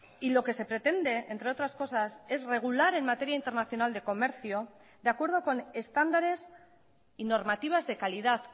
y lo que se pretende entre otras cosas es regular en materia internacional de comercio de acuerdo con estándares y normativas de calidad